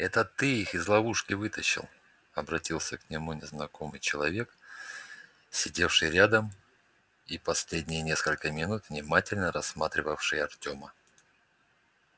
это ты их из ловушки вытащил обратился к нему незнакомый человек сидевший рядом и последние несколько минут внимательно рассматривавший артёма